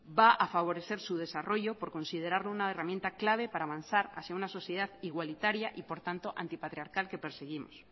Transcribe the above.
va a favorecer su desarrollo por considerarlo una herramienta clave para avanzar hacia una sociedad igualitaria y por tanto antipatriarcal que perseguimos